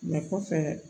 kɔfɛ